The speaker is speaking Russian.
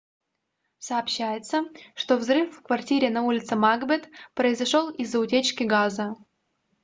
сообщается что взрыв в квартире на улице макбет произошел из-за утечки газа